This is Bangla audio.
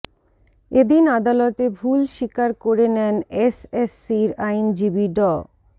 এদিন আদালতে ভুল স্বীকার করে নেন এসএসসির আইনজীবী ড